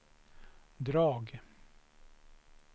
drag